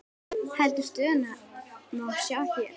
Heildar stöðuna má sjá hérna.